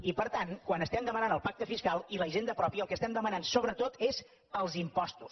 i per tant quan estem demanant el pacte fiscal i la hisenda pròpia el que estem demanant sobretot és els impostos